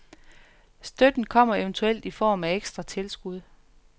Støtten kommer eventuelt i form af ekstra tilskud.